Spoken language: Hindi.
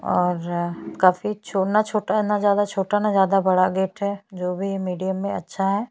और काफी छोना छोटा ना ज्यादा छोटा ना ज्यादा बड़ा गेट है जो भी है मीडियम है अच्छा है।